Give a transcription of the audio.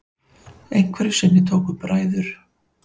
Einhverju sinni tóku bræður